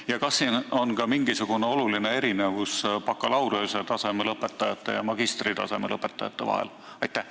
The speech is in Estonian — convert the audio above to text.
Ja kas on ka mingisugune oluline erinevus bakalaureusetaseme ja magistritaseme lõpetanute vahel?